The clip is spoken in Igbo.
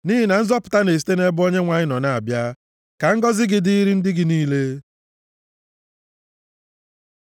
Nʼihi na nzọpụta na-esite nʼebe Onyenwe anyị nọ na-abịa. Ka ngọzị gị dịịrị ndị gị niile. Sela